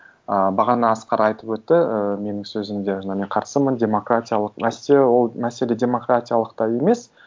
ы бағана асқар айтып өтті ііі менің сөзімде жаңа мен қарсымын деп демократиялық нәрсе ол мәселе демократиялықта емес